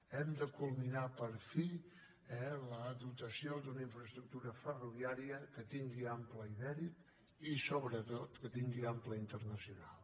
hem de culminar per fi la dotació d’una infraestructura ferroviària que tingui ample ibèric i sobretot que tingui ample internacional